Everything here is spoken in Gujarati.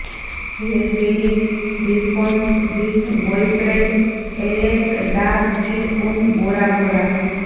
hair Berry reaffirms with boyfriend Alex Da Kid on Bora Bora